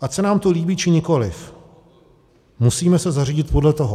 Ať se nám to líbí, či nikoliv, musíme se zařídit podle toho.